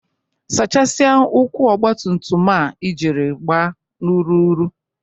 Saachasia ụkwụ ọgbatumtum a ijiri gba n'ụrụrụ!